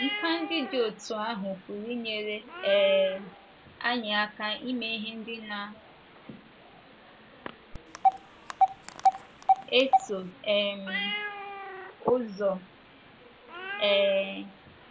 Nkà ndị dị otú ahụ pụrụ inyere um anyị aka ime ihe ndị na - eso um ụzọ. um